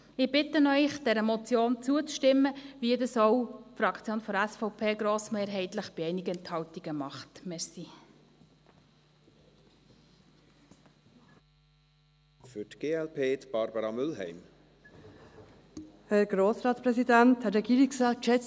Ich bitte Sie, dieser Motion zuzustimmen, so wie das auch die Fraktion SVP grossmehrheitlich, bei einigen Enthaltungen, macht.